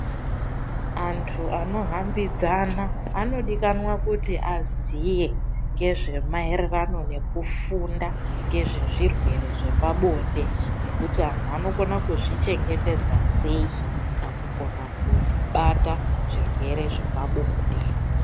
Antu anohambidzana anodikanwa kuti aziye nezvemaererano nekufunda ngezvezvirwere zvepabonde. Nekuti antu anokona kuzvichengetedza sei pakukona kubata zvirwere zvepabonde.